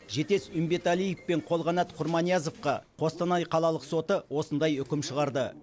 жетес үмбеталиев пен қолқанат құрманиязовқа қостанай қалалық соты осындай үкім шығарды